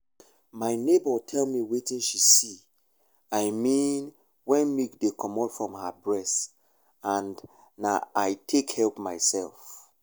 my neighbour tell me wetin she see i mean wen milk dey comot from her breast and na i take help myself.